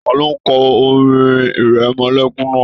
Taló n kọ orin ìrẹmọlẹ́kún náà?